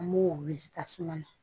An m'o wuli tasuma na